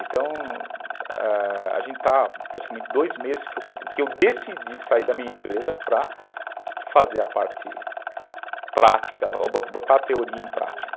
Então, a gente está praticamente dois meses que eu decidi sair da minha empresa para fazer a parte prática, botar a teoria em prática.